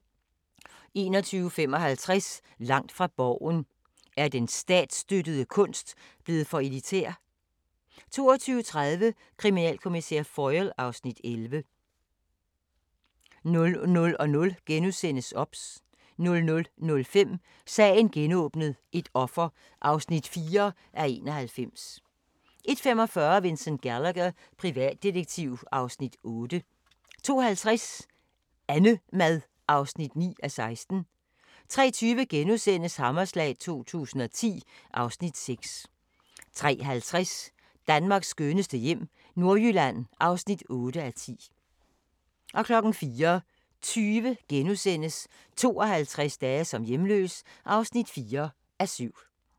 21:55: Langt fra Borgen: Er den statsstøttede kunst blevet for elitær? 22:30: Kriminalkommissær Foyle (Afs. 11) 00:00: OBS * 00:05: Sagen genåbnet: Et offer (4:91) 01:45: Vincent Gallagher, privatdetektiv (Afs. 8) 02:50: AnneMad (9:16) 03:20: Hammerslag 2010 (Afs. 6)* 03:50: Danmarks skønneste hjem - Nordjylland (8:10) 04:20: 52 dage som hjemløs (4:7)*